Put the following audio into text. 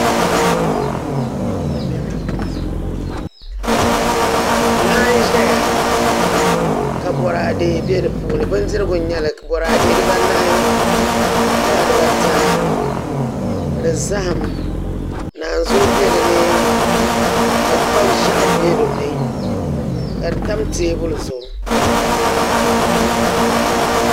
Laa n ʒɛya ka boraadɛ bɛ di puuni bindirigu n nyɛli boraadɛ dibanahi gala dibata ni zaham naanzuu bɛ dinni ka kpa ʒiɛɣu bɛ dinni ka di tam teebuli zuɣu